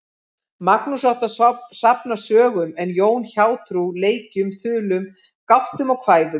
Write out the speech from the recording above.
Magnús átti að safna sögum en Jón hjátrú, leikum, þulum, gátum og kvæðum.